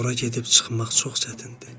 Ora gedib çıxmaq çox çətindir.